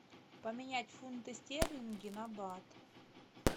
поменять фунты стерлинги на бат